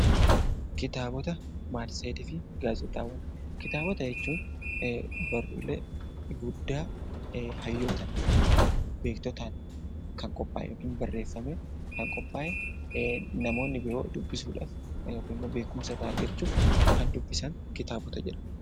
Kitaabota, matseetii fi gaazexaawwan Kitaabota jechuun barruulee guddaa hayyootaan yookaan beektotaan kan qophaa'e yookiin barreeffame, kan qophaa'e, namoonni biroo dubbisuu dhaaf yookiin beekumsa irraa argachuuf kan dubbisan 'Kitaabota' jedhama.